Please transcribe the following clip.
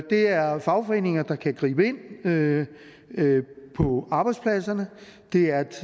er fagforeninger der kan gribe ind på arbejdspladserne det er et